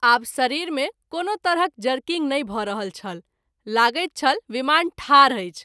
आब शरीर मे कोनो तरहक जरकिंग नहिं भ’ रहल छल लगैत छल विमान ठाढ अछि।